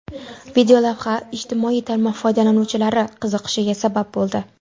Videolavha ijtimoiy tarmoq foydalanuvchilari qiziqishiga sabab bo‘ldi.